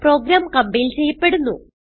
programme compile ചെയ്യപ്പെടുന്നു